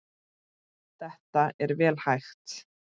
Þetta er vel hægt.